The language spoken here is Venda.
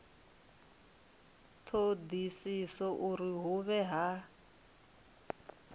thodisiso uri hu vhe ha